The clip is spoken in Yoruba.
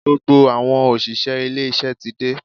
Gbogbo àwọn òṣìṣẹ́ ilé iṣẹ́ ti dé.